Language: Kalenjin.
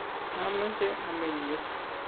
maameche ameny yu